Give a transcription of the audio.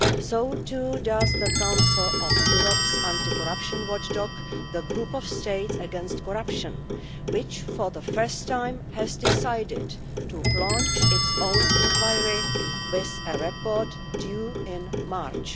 So too does the Council of Europe's anti-corruption watchdog, the Group of States against Corruption, which for the first time has decided to launch its own inquiry with a report due in March.